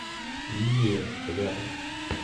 лилия рядом